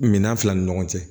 Minan fila ni ɲɔgɔn cɛ